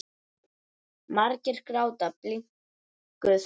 Margir gráta bliknuð blóm.